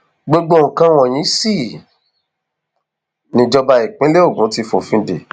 gbogbo nǹkan wọnyí sì nìjọba ìpínlẹ ogun ti fòfin dé